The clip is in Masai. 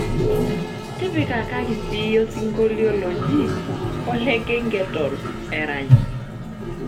tikipika siyie osinkolio loji olegegetone erany